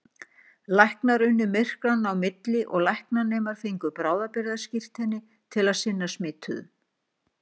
Læknar unnu myrkranna á milli og læknanemar fengu bráðabirgðaskírteini til að sinna smituðum.